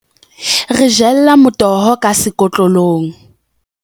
Re jella motoho ka sekotlolong.